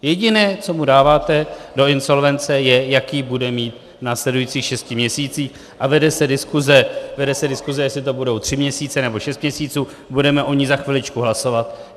Jediné, co mu dáváte do insolvence, je, jaký bude mít v následujících šesti měsících, a vede se diskuse, jestli to budou tři měsíce, nebo šest měsíců, budeme o ní za chviličku hlasovat.